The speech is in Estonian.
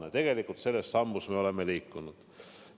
Ja tegelikult me oleme selles suunas liikunud.